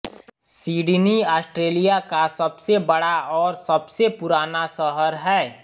Sydney Australia का सबसे बड़ा और सबसे पुराना शहर है